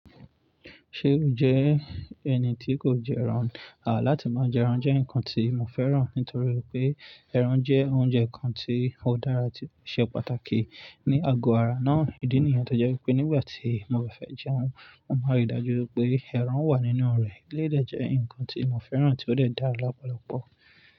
Ṣe o jẹ ẹni ti kò jẹ ẹran? A, láti máa jẹ ẹran jẹ́ nǹkan tí mo fẹ́ràn nítorí pé ẹran jẹ́ oúnjẹ kan tí ó dára tí ó ṣe pàtàkì ní àgọ ara náà. Ìdí nìyẹn tó jẹ́ pé nígbà tí mo bá fẹ́ jẹun, mo máa rí i dájú pé ẹran wà nínú rẹ̀. Élèyi de jẹ́ ǹkan tí mo fẹ́ràn tí ó lè dáa lọ́pọ̀lọpọ.